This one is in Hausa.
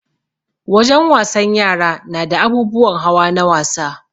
Wajen wasan yara nada abubuwan hawa na wasa